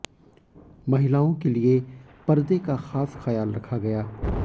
महिलाओं के लिए पर्दे का खास ख्याल रखा गया